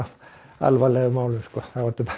alvarlegum málum sko þá ertu